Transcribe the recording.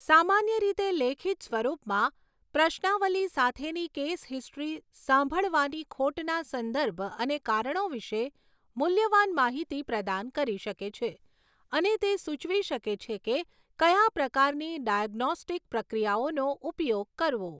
સામાન્ય રીતે લેખિત સ્વરૂપમાં, પ્રશ્નાવલી સાથેની કેસ હિસ્ટ્રી સાંભળવાની ખોટના સંદર્ભ અને કારણો વિશે મૂલ્યવાન માહિતી પ્રદાન કરી શકે છે, અને તે સૂચવી શકે છે કે કયા પ્રકારની ડાયગ્નોસ્ટિક પ્રક્રિયાઓનો ઉપયોગ કરવો.